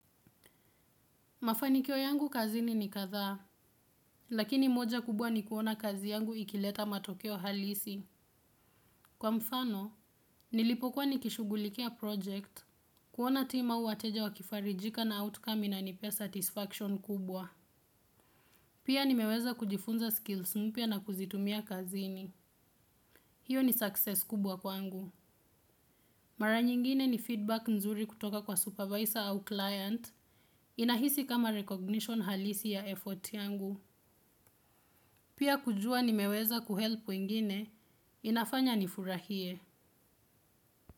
Mafanikio yangu kazini ni kadhaa, lakini moja kubwa ni kuona kazi yangu ikileta matokeo halisi. Kwa mfano, nilipokuwa nikishughulikia project, kuona team au wateja wakifarijika na outcome inanipea satisfaction kubwa. Pia nimeweza kujifunza skills mpya na kuzitumia kazini. Hiyo ni success kubwa kwangu. Mara nyingine ni feedback nzuri kutoka kwa supervisor au client inahisi kama recognition halisi ya effort yangu. Pia kujua nimeweza kuhelp wengine, inafanya nifurahie.